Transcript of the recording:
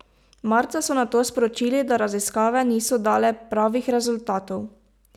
Marca so nato sporočili, da raziskave niso dale pravih rezultatov.